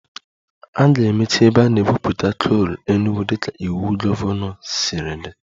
A ga-emechi ebe a na-egwupụta coal Enugwu dịka iwu gọvanọ siri dị